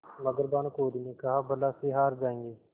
मगर भानकुँवरि ने कहाबला से हार जाऍंगे